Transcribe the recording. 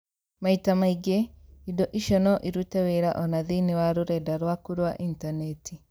Maita maingĩ, indo icio no irute wĩra o na thĩinĩ wa rũrenda rwaku rwa intaneti!